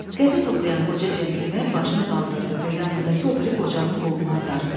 Qəzet oxuyan qoca centlmen başını qaldırdı və yanındakı o biri qocanın qolundan dartdı.